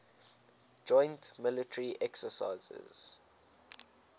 joint military exercises